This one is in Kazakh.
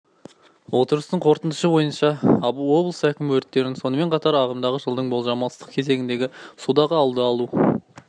отырыстың қорытындысы бойынша облыс әкімі өрттерің сонымен қатар ағымдағы жылдың болжамды ыстық кезеңіңде судағы алды алу